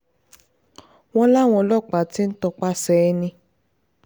wọ́n láwọn ọlọ́pàá ti ń tọpasẹ̀ ẹni